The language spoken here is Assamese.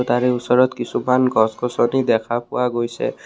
তাৰে ওচৰত কিছুমাহ গছ গছনি দেখা পোৱা গৈছে।